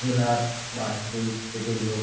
জেলার বা সেই স্টেট -এর লোক।